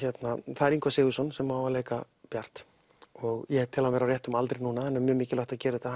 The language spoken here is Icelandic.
það er Ingvar Sigurðsson sem á að leika Bjart ég tel hann vera á réttum aldri núna það er mjög mikilvægt að gera þetta